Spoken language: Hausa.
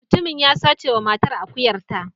Mutumin ya sace wa matar akuyarta.